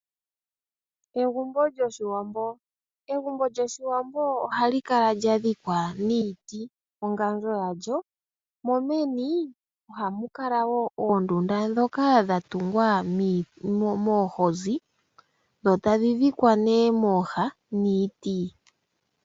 Egumbo lyoshiwambo oha li kala lya dhikwa niiti nongandjo ya lyo, mo meni oha mu kala wo oondunda ndhoka dha tungwa noohozi dho tadhi dhikwa nee mooha niiti.